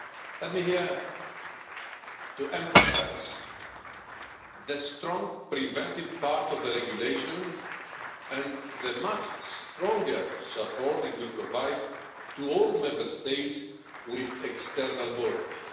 Let me emphasise here the strong preventive part of the regulation and the much stronger support it will provide to all Member States with external borders.